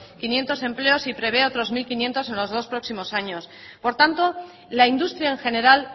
quinientos empleos y prevé otros mil quinientos en los dos próximos años por tanto la industria en general